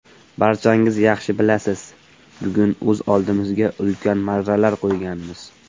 Barchangiz yaxshi bilasiz, bugun o‘z oldimizga ulkan marralar qo‘yganmiz.